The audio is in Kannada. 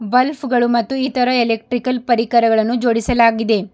ಬಲ್ಫ್ ಗಳು ಮತ್ತು ಇತರ ಎಲೆಕ್ಟ್ರಿಕಲ್ ಪರಿಕರಗಳನ್ನು ಜೋಡಿಸಲಾಗಿದೆ.